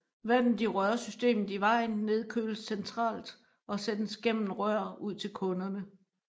Vandet i rørsystemet i vejen nedkøles centralt og sendes gennem rør ud til kunderne